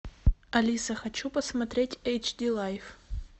алиса хочу посмотреть эйч ди лайф